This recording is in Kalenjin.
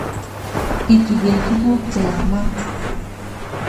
ituge tuguuk che yaamaat